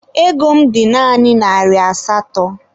Ego m dị naanị narị asatọ.